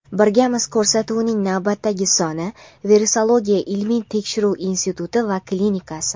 Birgamiz ko‘rsatuvining navbatdagi soni: Virusologiya ilmiy tekshirish instituti va klinikasi.